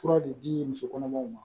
Fura de di muso kɔnɔmaw ma